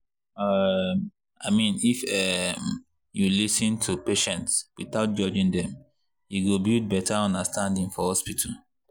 um i mean if um you lis ten to patients without judging dem e go build better understanding for hospital.